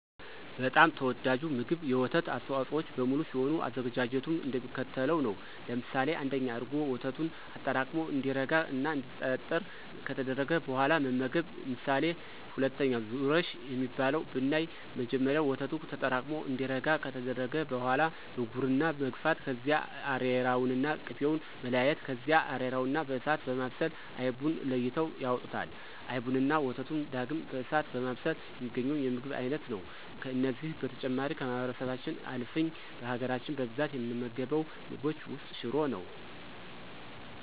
በጣም ተወዳጁ ምግብ የወተት አስተዋፆኦዎች በሙሉ ሲሆን አዘገጃጀቱም እንደሚከተለው ነው። ለምሳሌ1፦ እርጎ፦ ወተቱን አጠራቅሞ እንዲረጋ እና እንዲጠጥር ከተደረገ በኋላ መመገብ። ምሳሌ2፦ ዙረሽ የሚባለው ብናይ መጀመሪያ ወተቱ ተጠራቅሙ እንዲረጋ ከተደረገ በኋላ በጉርና መግፋት ከዚያ አሬራውንና ቅቤውን መለያየት ከዚያ አሬራውን በእሳት በማብሰል አይቡን ለይተው ያወጡታል። አይቡንና ወተቱን ዳግም በእሳት በማብሰል የሚገኘው የምግብን አይነት ነው። ከነዚህ በተጨማሪ ከማህበረሰባችን አልፍን በሀገራች በብዛት ከምንመገባቸው ምግቦች ውስጥ ሽሮ ነው።